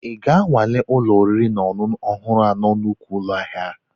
Ị ga-anwale ụlọ oriri na ọṅụṅụ ọhụrụ na nnukwu ụlọ ahịa?